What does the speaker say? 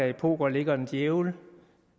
i poker ligger en djævel